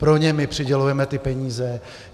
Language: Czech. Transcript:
Pro ně my přidělujeme ty peníze.